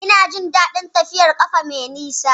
Ina jin daɗin tafiyar ƙafa mai nisa